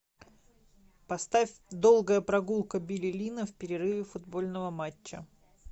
поставь долгая прогулка билли линна в перерыве футбольного матча